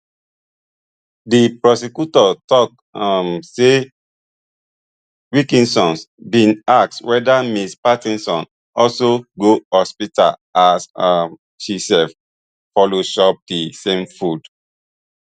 di prosecutor tok um say wilkinsons bin ask weda ms patterson also go hospital as um she sef follow chop di same food